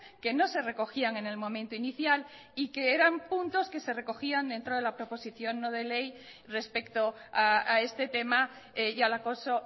que no se recogían en el momento inicial y que eran puntos que se recogían dentro de la proposición no de ley respecto a este tema y al acoso